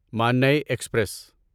ماننے ایکسپریس